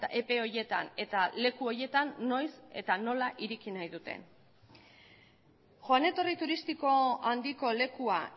epe horietan eta leku horietan noiz eta nola ireki nahi duten joan etorri turistiko handiko lekua